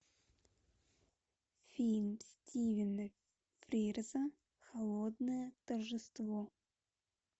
фильм стивена фрирза холодное торжество